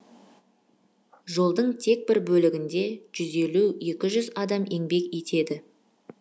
жолдың тек бір бөлігінде жуз елу екі жуз адам еңбек етеді